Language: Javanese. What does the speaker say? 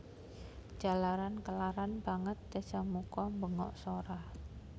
Jalaran kelaran banget Dasamuka mbengok sora